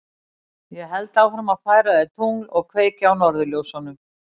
Ég held áfram að færa þér tungl og kveikja á norðurljósunum.